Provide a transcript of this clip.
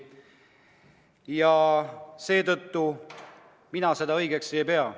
Ja seetõttu mina seda õigeks ei pea.